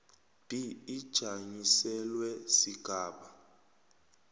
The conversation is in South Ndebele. b ijanyiselelwe sigaba